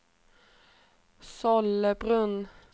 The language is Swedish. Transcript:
Sollebrunn